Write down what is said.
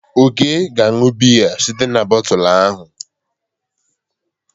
Ọke ga-aṅụ biya site n'botu ahụ.